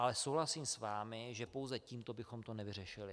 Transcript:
Ale souhlasím s vámi, že pouze tímto bychom to nevyřešili.